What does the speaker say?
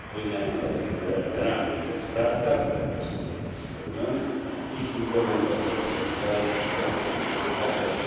Unia nam daje generalne ramy i to jest prawda, ten postulat jest spełniony, ich implementacja zostaje w rękach obywateli.